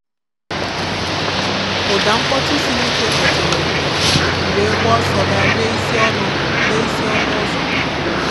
Ụ́dà mkpọtụ siri ike kpọ́tèrè m, m wee gbaa ọ́sọ́ gà lèè isi ọnụ́ lèè isi ọnụ́ ụ́zọ̀.